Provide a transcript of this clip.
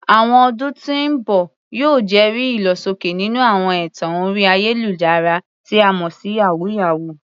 Àwọn ọdún tí ń bọ̀ yóò jẹ́rìí ìlọsókè nínú àwọn ẹ̀tàn orí ayélujára, tí a mọ̀ sí "yàwúyáwù ."